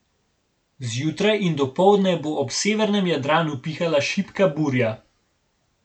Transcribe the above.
Zjutraj in dopoldne bo ob severnem Jadranu pihala šibka burja.